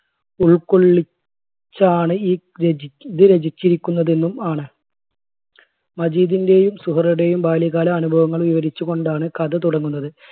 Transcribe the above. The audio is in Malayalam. ഉൾക്കൊള്ളി~ച്ചാണ് ഈ രചി ഇത് രചിച്ചിരിക്കുന്നതെന്നും ആണ്. മജീദിന്റെയും സുഹറയുടെയും ബാല്യകാല അനുഭവങ്ങൾ വിവരിച്ചു കൊണ്ടാണ് കഥ തുടങ്ങുന്നത്.